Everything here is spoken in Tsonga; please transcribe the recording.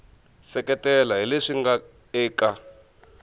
seketela hi leswi nga eka